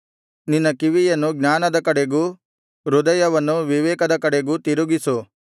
ನಿನ್ನ ಕಿವಿಯನ್ನು ಜ್ಞಾನದ ಕಡೆಗೂ ಹೃದಯವನ್ನು ವಿವೇಕದ ಕಡೆಗೂ ತಿರುಗಿಸು